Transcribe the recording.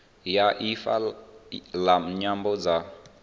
ya ifa la nyambo dza